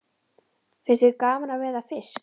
Finnst þér gaman að veiða fisk?